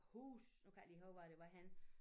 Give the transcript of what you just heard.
Huse nu kan jeg ikke lige huske hvor det var henne